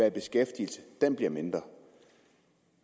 i beskæftigelse bliver mindre